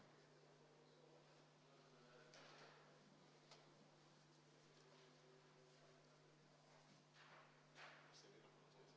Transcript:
Ma palun Vabariigi Valimiskomisjonil lugeda hääled avalikult ette.